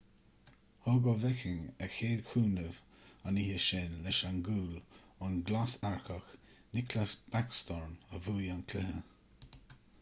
thug oveckhin a chéad chúnamh an oíche sin leis an gcúl ón nglasearcach nicklas backstrom a bhuaigh an cluiche